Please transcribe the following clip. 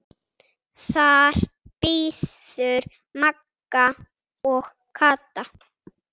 Þar biðu Magga og Kata.